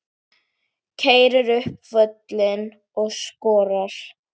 Keyrir upp völlinn og skorar.